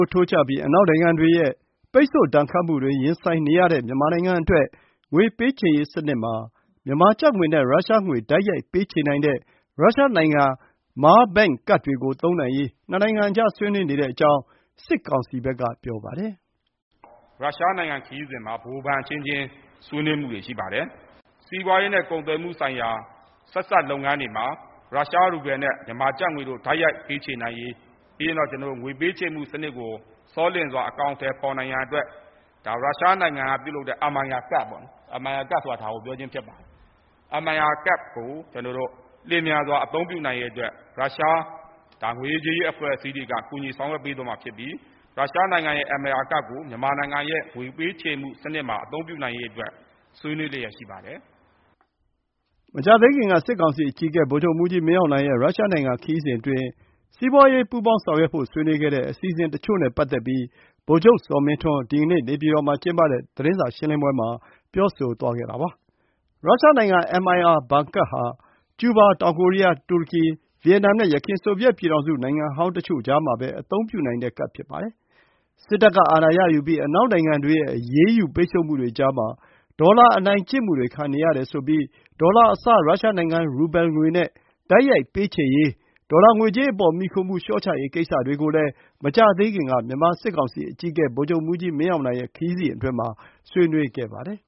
ုးထိုးကျပြီး အနောက်နိုင်ငံတွေရဲ့ ပိတ်ဆို့ဒဏ်ခတ်မှုတွေ ရင်ဆိုင်နေရတဲ့ မြန်မာနိုင်ငံအတွက် ငွေပေးချေရေးစနစ်မှာ မြန်မာကျပ်ငွေနဲ့ ရုရှားငွေနဲ့ တိုက်ရိုက် ပေးချေနိုင်တဲ့ ရုရှားနိုင်ငံ Mir Bank ကဒ်တွေကို သုံးနိုင်ရေး နှစ်နိုင်ငံအကြေား ဆွေးနွေးနေတဲ့ အကြောင်း စစ်ကောင်စီဘက်က ပြောပါတယ်။ “ရုရှားနိုင်ငံခရီးစဉ်မှာ ဗဟိုဘဏ်အချင်းချင်း ဆွေးနွေးမှုတွေရှိပါတယ်။ စီးပွါးရေးနဲ့ ကုန်သွယ်မှုဆိုင်ရာ ဆက်စပ်လုပ်ငန်းတွေမှာ ရုရှားရူဘယ်လ်နဲ့ မြန်မာကျပ်ငွေ တိုက် ရိုက်ပေးချေနိုင်ရေး၊ ပြီးရင်တော့ ကျနော်တို့ငွေပေးချေမှုစနစ်ကို ဆောလျင်စွာအကောင်အထည်ဖော်နိုင်ရန်အတွက် ရုရှားနိုင်ငံကပြုလုပ်တဲ့ Mir ကဒ်ပေါ့-Mir ကဒ်ဆိုတာ ဒါကို ပြောခြင်းဖြစ်ပါတယ်။ Mir ကဒ်ကို ကျနော်တို့ လျင်မြန်စွာအသုံးပြုနိုင်ရေးအတွက် ရုရှား ငွေရေးကြေးရေးအဖွဲ့အစည်းတွေက ကူညီဆောင်ရွက်ပေးသွားမှာဖြစ်ပြီး ရုရှားနိုင်ငံရဲ့ Mir ကဒ်ကို မြန်မာနိုင်ငံရဲ့ ငွေပေးချေမှုစနစ်မှာ အသုံးပြုနိုင်ရေးအတွက် ဆွေးနွေးလျှက်ရှိပါတယ်။” မကြာသေးခင်က စစ်ကောင်စီအကြီးအကဲ ဗိုလ်ချုပ်မှူးကြီး မင်းအောင်လှိုင်ရဲ့ ရုရှားနိုင် ငံခရီးစဉ်အတွင်း စီးပွားရေး ပူးပေါင်းဆောင်ရွက်ဖို့ ဆွေးနွေးခဲ့တဲ့ အစီအစဉ်တချို့နဲ့ ပတ်သက်ပြီး ဗိုလ်ချုပ် ဇော်မင်းထွန်း ဒီနေ့ နေပြပည်တော်မှာကျင်းပတဲ့ သတင်းစာရှင်းလင်းပွဲမှာ ပြောသွားတာပါ။ ရုရှားနိုင်ငံ Mir ဘဏ်ကဒ်ဟာ ကျုးဘား၊ တောင်ကိုရီးယား၊ တူရကီ၊ ဗီယက်နမ်နဲ့ ယခင် ဆိုဗီယက်ပြည်ထောင်စု နိုင်ငံဟောင်းတချို့ကြားမှာပဲ အသုံးပြုနိုင်တဲ့ကဒ်ဖြစ်ပါတယ်။ စစ်တပ်က အာဏာရယူပြီး အနောက်နိုင်ငံတွေရဲ့ အရေးယူပိတ်ဆို့မှုတွေကြားမှာ ဒေါ်လာ အနိုင်ကျင့်မှုတွေခံနေရတယ်ဆိုပြီး ဒေါ်လာအစား ရုရှားနိုင်ငံ ရူဘဲငွေနဲ့ တိုက် ရိုက်ပေးချေရေး၊ ဒေါ်လာငွေကြေးအပေါ် မှီခိုမှု လျှော့ချရေးကိစ္စတွေကိုလည်း မကြာသေးခင်က မြန်မာစစ်ကောင်စီ အကြီးအကဲ ဗိုလ်ချုပ်မှူးကြီး မင်းအောင်လှိုင်ရဲ့ ခရီးစဉ်အတွင်းမှာ ဆွေးနွေးခဲ့ပါတယ်